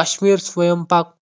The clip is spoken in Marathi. कश्मीर स्वयंपाक